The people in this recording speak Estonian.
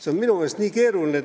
See on minu meelest nii keeruline.